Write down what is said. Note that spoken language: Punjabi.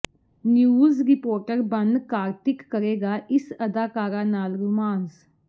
ਨਿਊਜ਼ ਰਿਪੋਟਰ ਬਣ ਕਾਰਤਿਕ ਕਰੇਗਾ ਇਸ ਅਦਾਕਾਰਾ ਨਾਲ ਰੋਮਾਂਸ